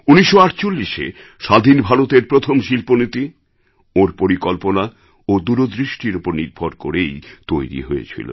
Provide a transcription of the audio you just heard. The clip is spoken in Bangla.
১৯৪৮এ স্বাধীন ভারতের প্রথম শিল্পনীতি ওঁর পরিকল্পনা ও দূরদৃষ্টির ওপর নির্ভর করেই তৈরি হয়েছিল